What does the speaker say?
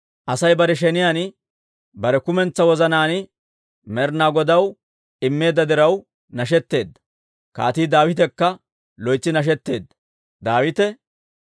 Asay bare sheniyaan bare kumentsaa wozanaan Med'inaa Godaw immeedda diraw nashetteedda; Kaatii Daawitekka loytsi nashetteedda.